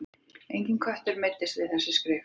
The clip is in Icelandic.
Enginn köttur meiddist við skrif þessi.